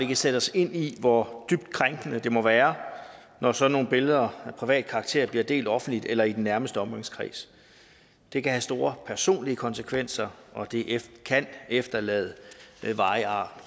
kan sætte os ind i hvor dybt krænkende det må være når sådan nogle billeder af privat karakter bliver delt offentligt eller i den nærmeste omgangskreds det kan have store personlige konsekvenser og det kan efterlade varige ar